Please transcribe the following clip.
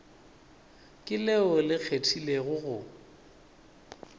ke leo le kgethegilego go